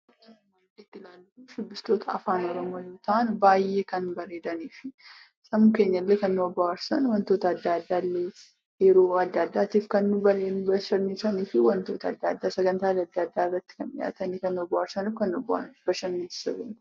Suurri nuti arginu kun shubbistoota afaan Oromoo yoo ta'an baay'ee kan bareedaniifi sammuu keenyallee kan nu bohaarsan wantoota adda addaallee yeroo adda addaatti kan nu bashannansiisanii fi sagantaa adda addaa irratti argamanii kan nu bohaarsanii fi kan nu bashannansiisanidha.